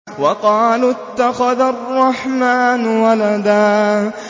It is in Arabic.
وَقَالُوا اتَّخَذَ الرَّحْمَٰنُ وَلَدًا